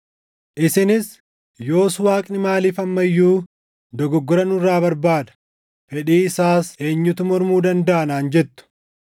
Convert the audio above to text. Isinis, “Yoos Waaqni maaliif amma iyyuu dogoggora nurra barbaada? Fedhii isaas eenyutu mormuu dandaʼa?” naan jettu.